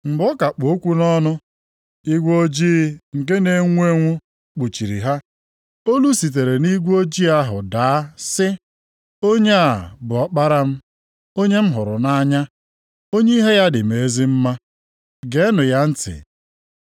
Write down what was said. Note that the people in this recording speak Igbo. Mgbe ọ ka kpụ okwu nʼọnụ, igwe ojii nke na-enwu enwu kpuchiri ha, olu sitere nʼigwe ojii ahụ daa sị, “Onye a bụ Ọkpara m, onye m hụrụ nʼanya, onye ihe ya dị m ezi mma. Geenụ ya ntị.”